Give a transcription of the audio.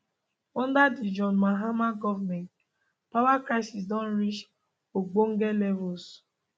under di john mahama goment power crisis don reach ogbonge levels